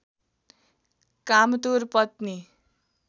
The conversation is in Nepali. कामतुर पत्नी